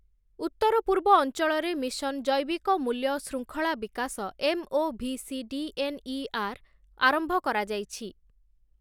ଉତ୍ତର ପୂର୍ବ ଅଂଚଳରେ ମିଶନ୍ ଜୈବିକ ମୂଲ୍ୟ ଶୃଙ୍ଖଳା ବିକାଶ ଏମ୍ଓଭିସିଡିଏନ୍ଇଆର୍ ଆରମ୍ଭ କରାଯାଇଛି ।